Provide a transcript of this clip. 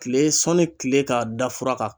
Kile sɔnni kile ka da fura kan